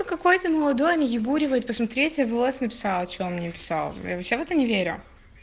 какой-то молодой и буревой посмотреть в лс написала что мне писал я вообще в это не верю